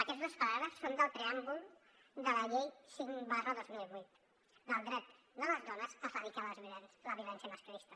aquests dos paràgrafs són del preàmbul de la llei cinc dos mil vuit del dret de les dones a erradicar la violència masclista